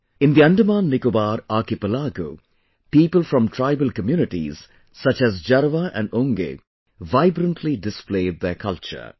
In the AndamanNicobar archipelago, people from tribal communities such as Jarwa and Onge vibrantly displayed their culture